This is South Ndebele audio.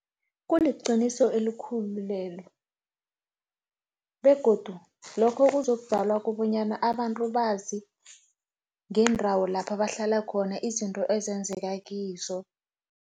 Kuliqiniso elikhulu lelo, begodu lokho kuzokudalwa kobanyana abantu bazi, ngendawo lapha bahlala khona, izinto ezenzeka kizo.